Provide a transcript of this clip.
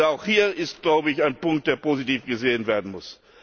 Auch hier ist, glaube ich, ein Punkt, der positiv gesehen werden muss.